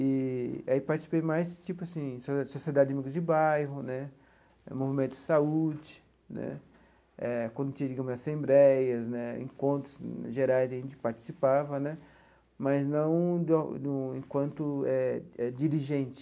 E aí participei mais tipo assim de sociedade de amigos de bairro né, movimento de saúde né eh, eh quando tinha, digamos, assembleias né, encontros gerais, a gente participava né, mas não de uma de um enquanto eh eh dirigente.